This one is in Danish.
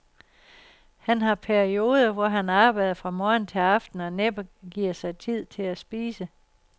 Han har perioder, hvor han arbejder fra morgen til aften og næppe giver sig tid til at spise.